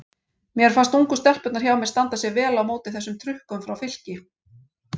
Mér fannst ungu stelpurnar hjá mér standa sig vel á móti þessum trukkum hjá Fylki.